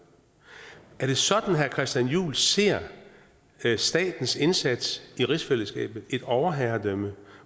er det sådan herre christian juhl ser statens indsats i rigsfællesskabet altså et overherredømme